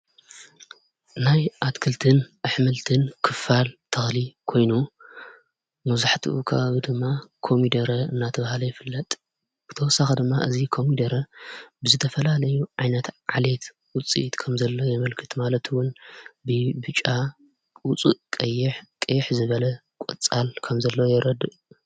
ናይ ኣትክልትን ኣሕምልትን ክፋል ተክሊ ኮይኑ መብዛሕቲኡ ከባቢ ድማ ኮሚደረ እናተብሃለ ይፍለጥ ብተወሳኺ ድማ እዙ ከሚደረ ብዝተፈላለዩ ዓይነት ዓሌት ውፅኢት ከም ዘለዎ የመልክት። ማለትውን ብብጫ ፣ዉፁእ ቀይሕ፣ ቀይሕ ዝበለ ቈፃል ከም ዘሎ የረድእ::